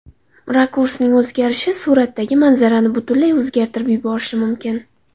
Rakursning o‘zgarishi suratdagi manzarani butunlay o‘zgartirib yuborishi mumkin.